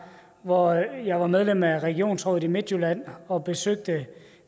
hvor jeg var medlem af regionsrådet i midtjylland og besøgte